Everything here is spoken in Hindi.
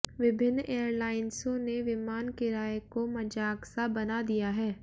विभिन्न एयरलाइंसों ने विमान किराए को मजाक सा बना दिया है